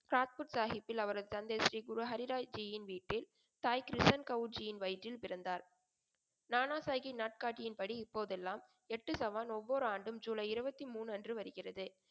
சாத்புத் சாகிப்பில் அவரது தந்தை ஸ்ரீ குரு ஹரிராய்ஜியின் வீட்டில் தாய் கிருஷ்ணன் கௌஜியின் வயிற்றில் பிறந்தார். நானா சாகி நாட்காட்டியின் படி இப்போதெல்லாம் எட்டு சவான் ஒவ்வொரு ஆண்டும் ஜூலை இருபத்தி மூன்று அன்று வருகிறது.